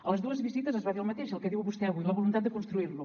a les dues visites es va dir el mateix el que diu vostè avui la voluntat de construir lo